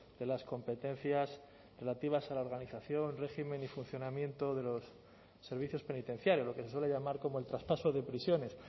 de las competencias relativas a la organización régimen y funcionamiento de los servicios penitenciarios lo que se suele llamar como el traspaso de prisiones